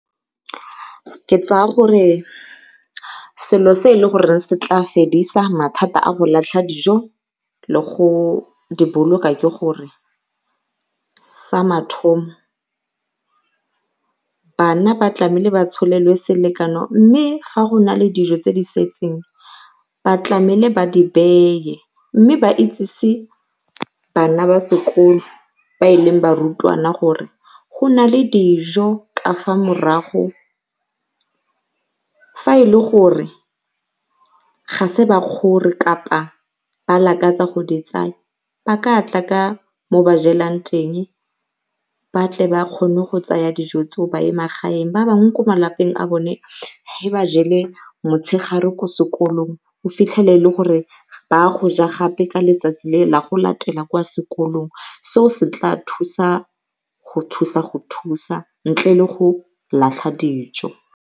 Ke tsaya gore selo se e le goreng se tla fedisa mathata go latlha dijo le go diboloka ke gore sa mathomo bana ba tlameile ba tsholelwe selekano mme ga go na le dijo tse di setseng ba tlamele ba di beye mme ba itsese bana ba sekolo ba e leng barutwana gore go na le dijo ka fa morago fa e le gore ga se ba kgore kapa ba lakatsa go di tsaya ba ka tla ka mo ba jelang teng ba tle ba kgone go tsaya dijo tseo ba ye magaeng. Ba bangwe ko a bone ge ba jele motshegare ko sekolong o fitlhele e le gore ba ya goja gape ka letsatsi le la go latela kwa sekolong seo se tlaa thusa go thusa go thusa ntle le go latlha dijo.